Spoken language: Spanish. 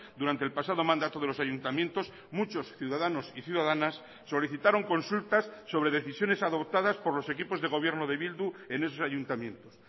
durante el pasado mandato de los ayuntamientos muchos ciudadanos y ciudadanas solicitaron consultas sobre decisiones adoptadas por los equipos de gobierno de bildu en esos ayuntamientos